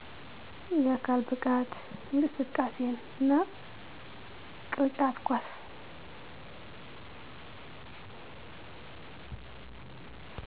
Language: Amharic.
የአካል ብቃት እንቅስቃሴ እና ቅርጫት ኳስ